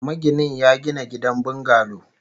Maginin ya gina gidan bungalo